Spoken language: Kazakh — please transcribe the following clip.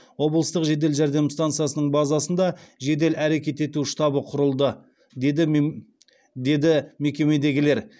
облыстық жедел жәрдем стансасының базасында жедел әрекет ету штабы құрылды деді мекемедегілер